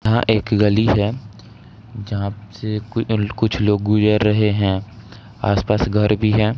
यहाँ एक गली है जहां से कुछ लोग जा रहे हैं आसपास घर भी है।